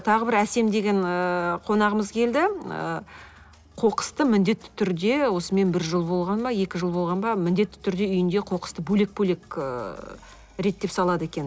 тағы бір әсем деген ыыы қонағымыз келді ы қоқысты міндетті түрде осымен бір жыл болған ба екі жыл болған ба міндетті түрде үйіндегі қоқысты бөлек бөлек ыыы реттеп салады екен